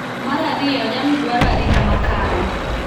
Mar ariyo, jamni dwaro arita makare